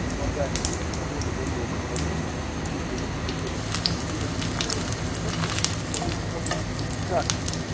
преобладание того либо иного компонента будь то эстрогенные либо прогестероновые рецепторы он может работать как